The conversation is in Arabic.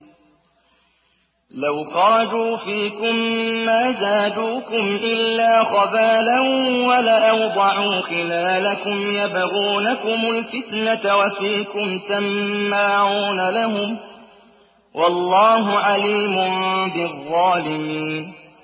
لَوْ خَرَجُوا فِيكُم مَّا زَادُوكُمْ إِلَّا خَبَالًا وَلَأَوْضَعُوا خِلَالَكُمْ يَبْغُونَكُمُ الْفِتْنَةَ وَفِيكُمْ سَمَّاعُونَ لَهُمْ ۗ وَاللَّهُ عَلِيمٌ بِالظَّالِمِينَ